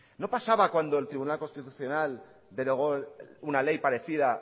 no pasaba cuando el tribunal constitucional denegó una ley parecida